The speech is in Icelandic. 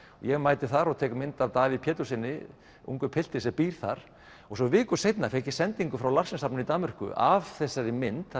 ég mæti þar og tek mynd af Davíð Péturssyni ungum pilti sem býr þar svo viku seinna fékk ég sendingu frá Larsen safninu í Danmörku af þessari mynd